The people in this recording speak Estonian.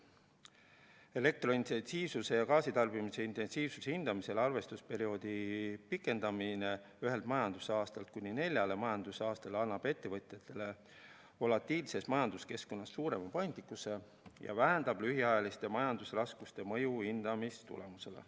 Elektrointensiivsuse ja gaasitarbimise intensiivsuse hindamisel arvestusperioodi pikendamine ühelt majandusaastalt kuni neljale majandusaastale annab ettevõtjatele volatiilses majanduskeskkonnas suurema paindlikkuse ja vähendab lühiajaliste majandusraskuste mõju hindamistulemusele.